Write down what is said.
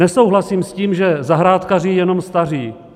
Nesouhlasím s tím, že zahrádkaří jenom staří.